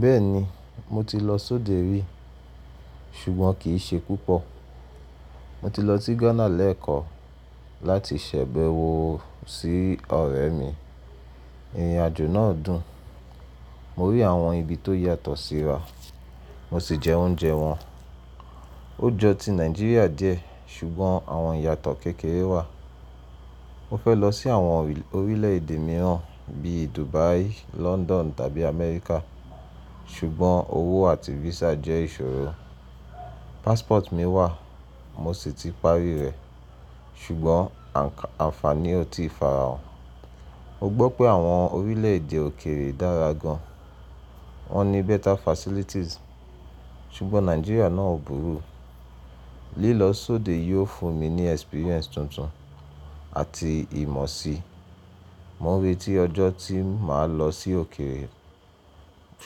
Bẹ́ẹ̀ni, mo ti lọ sóde rí, ṣùgbọ́n kì í ṣe púpọ̀. Mo ti lọ sí Ghana lẹ́ẹ̀kan láti ṣẹ̀bẹ̀wò sí ọ̀rẹ́ mi. Ìrìnàjò náà dùn. Mo rí àwọn ibi tó yàtọ̀ síra, mo sì jẹ oúnjẹ wọn. Ó jọ ti Nàìjíríà díẹ̀, ṣùgbọ́n àwọn ìyàtọ̀ kékeré wà. Mo fẹ́ lọ sí àwọn orílẹ̀èdè mìíràn bí i Dubai, London tàbí America, ṣùgbọ́n owó àti visa jẹ́ ìṣòro. Passport mi wà, mo sì ti parí rẹ̀, ṣùgbọ́n àǹfààní ò tí ì farahàn. Mo gbọ́ pé àwọn orílẹ̀èdè òkèrè dára gan an. Wọ́n ní better facilities, ṣùgbọ́n Nàìjíríà náà ò burú. Lílọ sóde yóò fún mi ní experience tuntun àti ìmọ̀ síi. Mo n retí ọjọ́ tí màá lọ sí òkèrè.